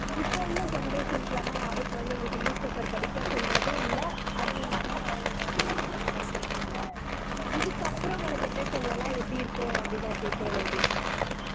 இப்போ உள்ள generations லலாம் யாரும் குழந்தைகளுக்கு newspaper படிக்க சொல்றதும் இல்லை அதுவும் இல்லாம அவங்க குழந்தைங்களும் எல்லாம் இதை அதை பத்தி படிக்கிறதும் இல்லை இதற்துக்கு அப்புறம் வரும் generations ல் எல்லாம் எப்படி இருக்கும் அப்படி நான் கேக்குறேன் லோகேஷ்